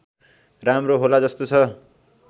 राम्रो होला जस्तो छ